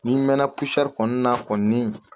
N'i mɛna kusɛri kɔnɔna na